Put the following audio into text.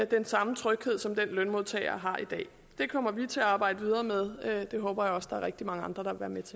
den samme tryghed som den lønmodtagere har i dag det kommer vi til at arbejde videre med det håber jeg også der er rigtig mange andre